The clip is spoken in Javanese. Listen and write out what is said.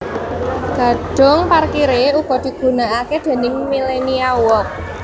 Gedhung parkiré uga digunakake déning Millenia Walk